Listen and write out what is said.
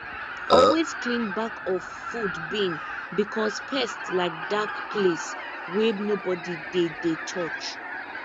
always clean back of food bin because pest like dark place wey nobody dey dey touch